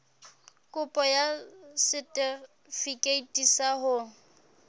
kopo ya setefikeiti sa ho